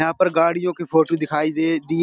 यहाँ पर गाड़ियों के फोटो दिखाई दे दी --